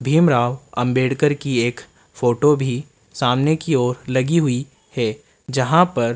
भीमराव अंबेडकर की एक फोटो भी सामने की ओर लगी हुई है जहां पर --